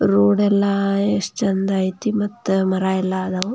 Road ಎಲ್ಲ ಎಷ್ಟು ಚಂದ್ ಐತಿ ಮತ್ತೆ ಮರ ಎಲ್ಲ ಅದಾವು.